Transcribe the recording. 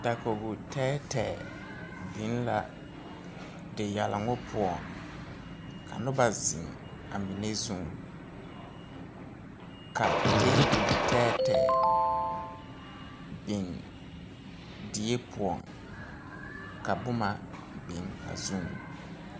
Dakogi tɛɛtɛɛ biŋ la diyɛloŋ poɔŋ ka noba zeŋ amine zuŋ ka tɛɛbol tɛɛtɛɛ biŋ die poɔŋ ka boma biŋ a zuŋ.